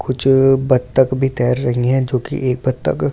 कुछ बत्तख भी तैर रही हैं जो कि एक बत्तख की चो --